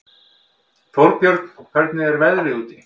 Þórbjörn, hvernig er veðrið úti?